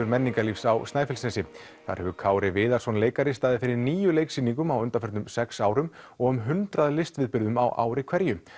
menningarlífs á Snæfellsnesi þar hefur Kári Viðarsson leikari staðið fyrir níu leiksýningum á undanförnum sex árum og um hundrað listviðburðum á ári hverju